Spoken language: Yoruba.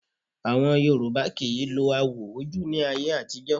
Àwọn Yorùbá kì í lo awò ojú ní ayé àtijọ́